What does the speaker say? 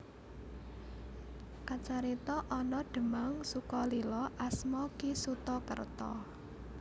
Kacarita ana Demang Sukolilo asma Ki Suta Kerta